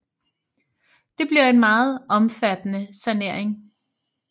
Det bliver en meget omfattende sanering